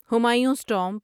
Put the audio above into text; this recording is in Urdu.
ہمایونس ٹامب